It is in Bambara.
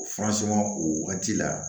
O furasɔngɔ o wagati la